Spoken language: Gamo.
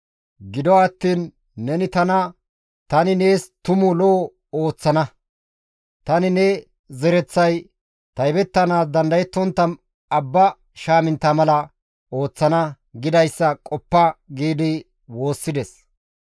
Gido attiin neni tana, ‹Tani nees tumu lo7o ooththana; tani ne zereththay taybettanaas dandayettontta abba shaamintta mala ooththana› gidayssa qoppa» gi woossides.